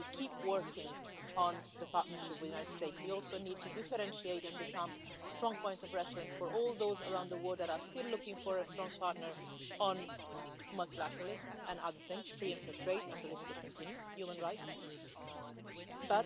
As we keep working on the partnership with the United States we also need to differentiate and become a strong point of reference for all those around the world that are still looking for a strong partner on multilateralism and other things free and fair trade, human rights the list could continue.